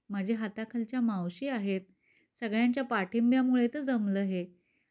माझ्या हाताखालच्या मावशी आहेत. सगळ्यांच्या पाठिंब्यामुळे तर जमलं हे.